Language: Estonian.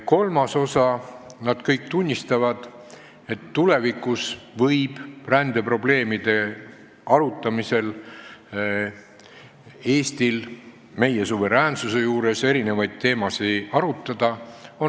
Kolmandaks, nad kõik tunnistavad, et tulevikus võib rändeprobleemide ja meie suveräänsusega seoses erinevaid teemasid arutada.